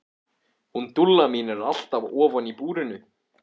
Hún Dúlla mín er alltaf ofan í búrinu.